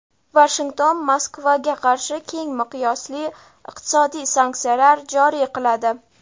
Vashington Moskvaga qarshi keng miqyosli iqtisodiy sanksiyalar joriy qiladi.